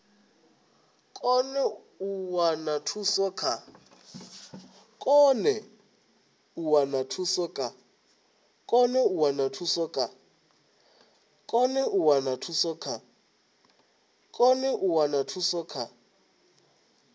kone u wana thuso kha